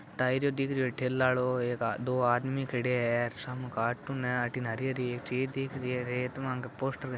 टायरो दिखरियो है ठेलाडो दो आदमी खड़ा है सामने कार्टून है हरी हरी चीज़ दिख रही है रेत म पोस्टर --